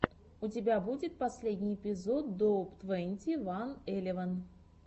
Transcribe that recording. у тебя будет последний эпизод доуп твенти ван элеван